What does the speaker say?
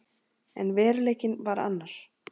En veruleikinn var annar.